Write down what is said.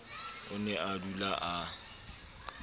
o ne a dula a